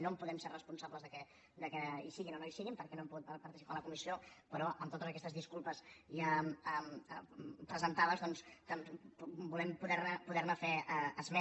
no podem ser responsables que hi siguin o no hi siguin perquè no hem pogut participar a la comissió però amb totes aquestes disculpes ja presentades doncs volem poderne fer esment